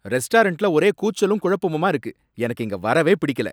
ரெஸ்டாரன்ட்ல ஒரே கூச்சலும் குழப்பமுமா இருக்கு, எனக்கு இங்க வரவே பிடிக்கல.